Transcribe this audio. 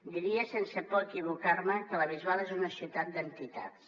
diria sense por a equivocar me que la bisbal és una ciutat d’entitats